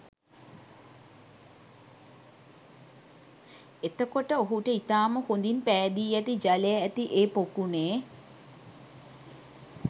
එතකොට ඔහුට ඉතාම හොඳින් පෑදී ඇති ජලය ඇති ඒ පොකුණේ